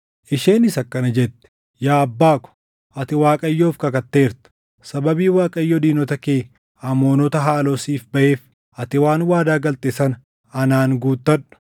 Isheenis akkana jette; “Yaa abbaa ko, ati Waaqayyoof kakatteerta; sababii Waaqayyo diinota kee Amoonota haaloo siif baʼeef, ati waan waadaa galte sana anaan guutadhu.